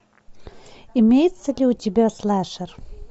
имеется ли у тебя слэшер